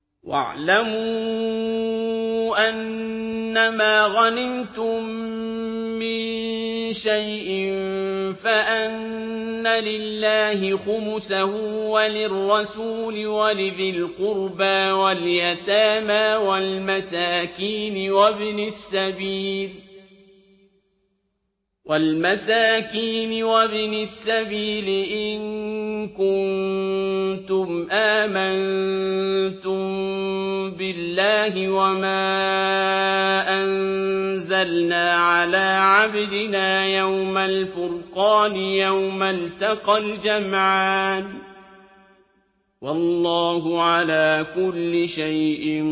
۞ وَاعْلَمُوا أَنَّمَا غَنِمْتُم مِّن شَيْءٍ فَأَنَّ لِلَّهِ خُمُسَهُ وَلِلرَّسُولِ وَلِذِي الْقُرْبَىٰ وَالْيَتَامَىٰ وَالْمَسَاكِينِ وَابْنِ السَّبِيلِ إِن كُنتُمْ آمَنتُم بِاللَّهِ وَمَا أَنزَلْنَا عَلَىٰ عَبْدِنَا يَوْمَ الْفُرْقَانِ يَوْمَ الْتَقَى الْجَمْعَانِ ۗ وَاللَّهُ عَلَىٰ كُلِّ شَيْءٍ